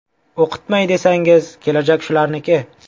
O‘qitmay desangiz, kelajak shularniki.